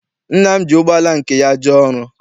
Nna m ji ụgbọala nke ya jee ọrụ.